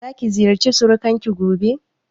Za ki ziyarci surukan ki gobe?